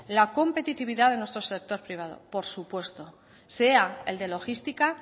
la competitividad de nuestro sector privado por supuesto sea el de logística